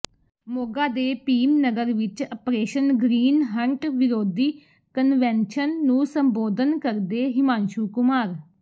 ਮੋਗਾ ਦੇ ਭੀਮ ਨਗਰ ਵਿਚ operation green hunt ਵਿਰੋਧੀ ਕਨਵੈਨਸ਼ਨ ਨੂੰ ਸੰਬੋਧਨ ਕਰਦੇ ਹਿਮਾਂਸ਼ੂ ਕੁਮਾਰ